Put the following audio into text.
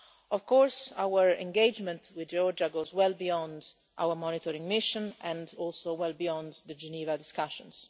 Of course, our engagement with Georgia goes well beyond our monitoring mission and also well beyond the Geneva discussions.